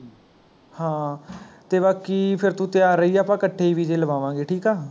ਹਾਂ ਤੇ ਬਾਕੀ ਫਿਰ ਤੂੰ ਤਿਆਰ ਰਹੀ ਆਪਾਂ ਇਕੱਠੇ ਹੀ ਵੀਜ਼ੇ ਲਵਾਵਾਂਗੇ ਠੀਕ ਹੈ